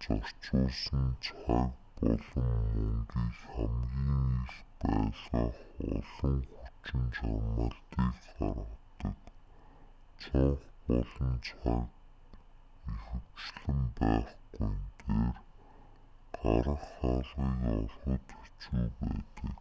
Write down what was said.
зарцуулсан цаг болон мөнгийг хамгийн их байлгах олон хүчин чармайлтыг гаргадаг цонх болон цаг ихэвчлэн байхгүйн дээр гарах хаалгыг олоход хэцүү байдаг